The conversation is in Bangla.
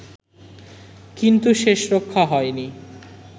কিন্তু শেষরক্ষা হয়নি